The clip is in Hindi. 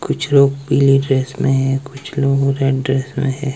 कुछ लोग पीली ड्रेस में हैं। कुछ लोग रेड ड्रेस में है।